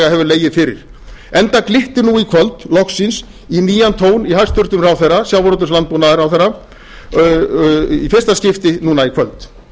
legið fyrir enda glyttir nú í kvöld loksins í nýjan tón í hæstvirtum sjávarútvegs og landbúnaðarráðherra í fyrsta skipti núna í kvöld